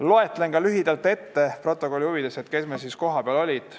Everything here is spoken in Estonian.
Loen lühidalt protokolli huvides ette, kes meil kohal olid.